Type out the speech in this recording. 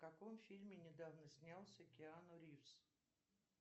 в каком фильме недавно снялся киану ривз